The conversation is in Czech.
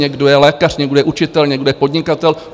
Někdo je lékař, někdo je učitel, někdo je podnikatel.